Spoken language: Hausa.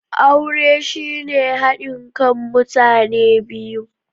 Aure shine hadin kan mutane biyu.